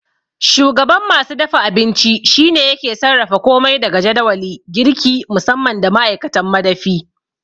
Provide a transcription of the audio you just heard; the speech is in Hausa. Shugaban masu dafa abinci shine yake sarrafa komai daga jadawali, girki musamman da ma'aikatan madafi.